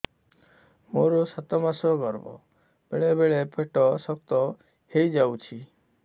ମୋର ସାତ ମାସ ଗର୍ଭ ବେଳେ ବେଳେ ପେଟ ଶକ୍ତ ହେଇଯାଉଛି